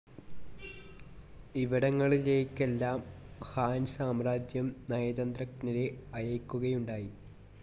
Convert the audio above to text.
ഇവിടങ്ങളിലേയ്ക്കെല്ലാം Han സാമ്രാജ്യം നയതന്ത്രജ്ഞരെ അയയ്ക്കുകയുണ്ടായി.